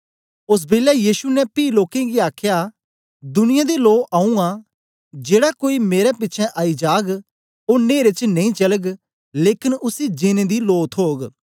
ओस बेलै यीशु ने पी लोकें गी आखया दुनियां दी लो आऊँ आं जेड़ा कोई मेरे पिछें आई जाग ओ नहेरे च नेई चलग लेकन उसी जीनें दी लो थोग